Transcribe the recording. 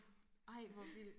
ej hvor vildt